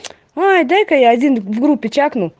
ой дай-ка я один в группе чакну